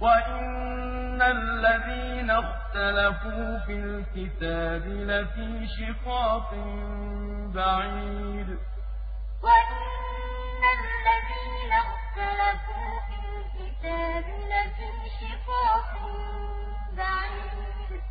وَإِنَّ الَّذِينَ اخْتَلَفُوا فِي الْكِتَابِ لَفِي شِقَاقٍ بَعِيدٍ ذَٰلِكَ بِأَنَّ اللَّهَ نَزَّلَ الْكِتَابَ بِالْحَقِّ ۗ وَإِنَّ الَّذِينَ اخْتَلَفُوا فِي الْكِتَابِ لَفِي شِقَاقٍ بَعِيدٍ